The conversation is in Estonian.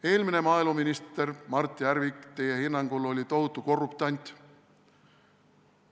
Eelmine maaeluminister Mart Järvik oli teie hinnangul tohutu korruptant.